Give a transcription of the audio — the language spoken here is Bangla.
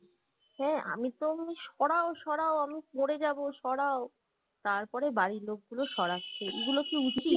হ্যাঁ আমিতো সরাও সরাও আমি মরে যাবো সরাও তারপরে বাড়ির লোকগুলো সরাচ্ছে এইগুলো কি উচিত?